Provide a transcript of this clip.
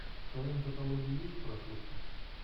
в твоем каталоге есть прослушка